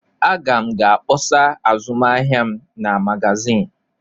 Aga m ga-akpọsa azụmahịa m na magazin.